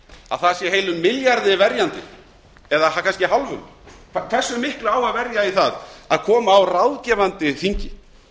að það séu heilum milljarði verjandi eða kannski hálfum hversu miklu á að verja í það að koma á ráðgefandi þingi